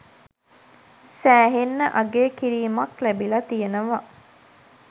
සෑහෙන්න අගය කිරීමක් ලැබිල තියෙනව